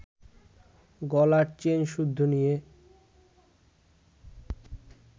গলার চেনসুদ্ধু নিয়ে